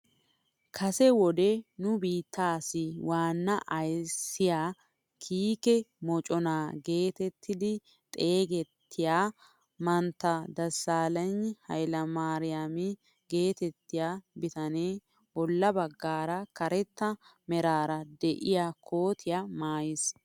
Kase wode nu biitteessi waanna ayssiyaa kiike moconaa getettidi xeegettiyaa mantta desaalegna hayle maariyaama geetettiyaa bitanee bolla baggaara karetta meraara de'iyaa kotiyaa maayis.